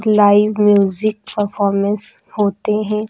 Live music performance होते हैं।